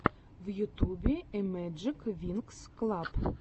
в ютюбе зэмэджиквинксклаб